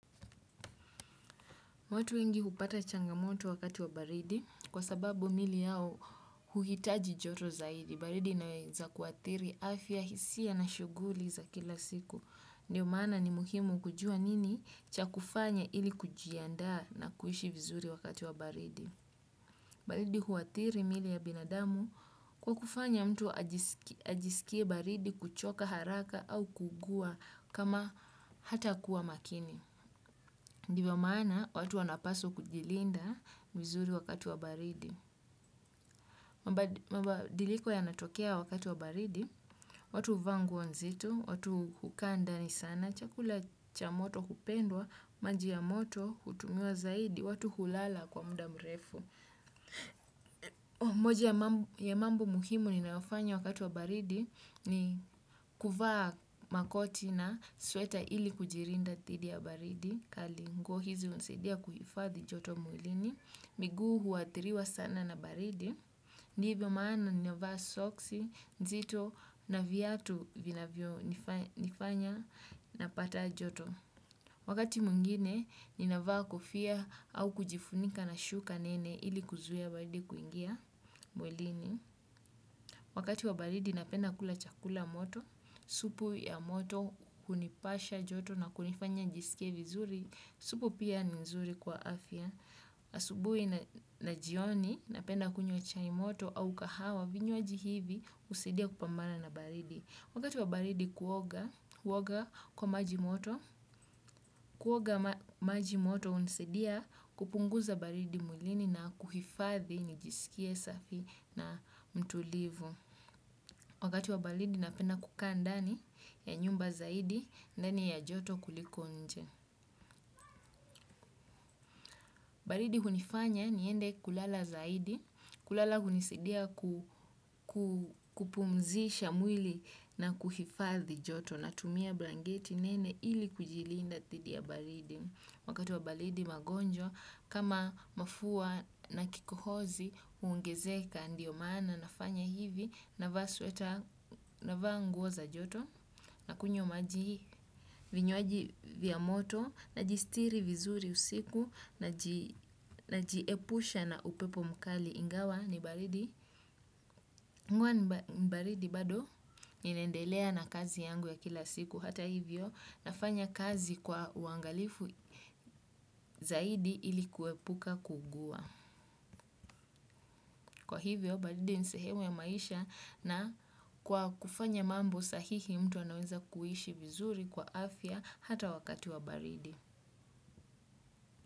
Watu wengi hupata changamoto wakati wa baridi kwa sababu mili yao huhitaji joto zaidi. Baridi inawza kuathiri afya, hisia na shughuli za kila siku. Ndiyo maana ni muhimu kujua nini cha kufanya ili kujianda na kuishi vizuri wakati wa baridi. Baridi huathiri miili ya binadamu kwa kufanya mtu ajisikie baridi, kuchoka haraka au kuugua kama hatakuwa makini. Ndivyo maana, watu wanapaswa kujilinda vizuri wakati wa baridi. Mabadiliko yanatokea wakati wa baridi, watu huvaa nguo nzito, watu hukaa ndani sana, chakula cha moto hupendwa, maji ya moto hutumiwa zaidi, watu hulala kwa muda mrefu. Moja ya mambo muhimu ninayofanya wakati wa baridi ni kuvaa makoti na sweta ili kujilinda dhidi ya baridi kali. Nguo hizi hunisaidia kuhifadhi joto mwilini, miguu huathiriwa sana na baridi. Ndivyo maana ninavaa soksi nzito na viatu vinavyonifa nifanya napata joto. Wakati mwingine, ninavaa kofia au kujifunika na shuka nene ili kuzuia baridi kuingia mwilini. Wakati wa baridi napenda kula chakula moto, supu ya moto hunipasha joto na kunifanya nijisikie vizuri, supu pia ni nzuri kwa afya. Asubuhi na jioni napenda kunywa chai moto au kahawa. Vinywaji hivi husaidia kupambana na baridi. Wakati wa baridi kuoga, huoga kwa maji moto, kuoga maji moto hunisidia kupunguza baridi mwilini na kuhifadhi nijisikie safi na mtulivu. Wakati wa baridi napenda kukaa ndani ya nyumba zaidi, ndani ya joto kuliko nje. Baridi hunifanya niende kulala zaidi. Kulala hunisaidia ku kupumzisha mwili na kuhifadhi joto. Natumia blangeti nene ili kujilinda dhidi ya baridi. Wakati wa baridi magonjwa kama mafua na kikohozi huongezeka ndio maana nafanya hivi. Navaa sweta navaa nguo za joto, nakunywi maji, vinywaji vya moto. Najisitiri vizuri usiku, najiepusha na upepo mkali ingawa ni baridi. Huwa mbaridi bado ninaendelea na kazi yangu ya kila siku hata hivyo nafanya kazi kwa uangalifu zaidi ili kuepuka kuugua. Kwa hivyo baridi ni sehemu ya maisha na kwa kufanya mambo sahihi mtu anaweza kuishi vizuri kwa afya hata wakati wa baridi.